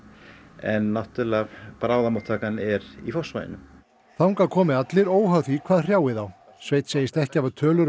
en náttúrlega bráðamóttakan er í Fossvoginum þangað komi allir óháð því hvað hrjáir þá sveinn segist ekki hafa tölur um